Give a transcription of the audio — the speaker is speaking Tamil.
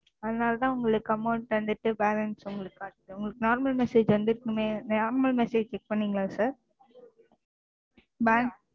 அதனால தான் உங்களுக்கு Amount வந்துட்டு Balance உங்களுக்கு காட்டுது. உங்களுக்கு Normal message வந்துருக்கனுமே Normal message check பண்ணீங்களா? Sir